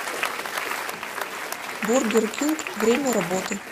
бургер кинг время работы